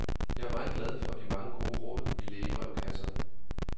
Jeg er meget glad for de mange gode råd i lægebrevkasserne.